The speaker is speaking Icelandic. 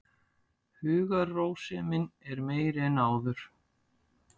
Hugarrósemin er meiri en áður.